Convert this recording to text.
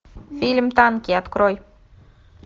фильм танки открой